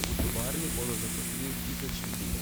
V tovarni bodo zaposlili tisoč ljudi.